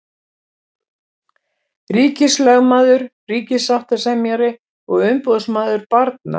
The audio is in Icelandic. Ríkislögmaður, ríkissáttasemjari og umboðsmaður barna.